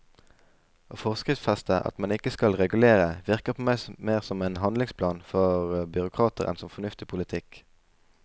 Å forskriftsfeste at man ikke skal regulere, virker på meg mer som en handlingsplan for byråkrater enn som fornuftig politikk.